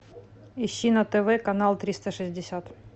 ищи на тв канал триста шестьдесят